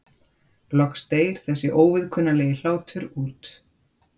Loks deyr þessi óviðkunnanlegi hlátur út.